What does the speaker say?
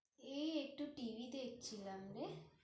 এই একটু TV দেখছিলাম রে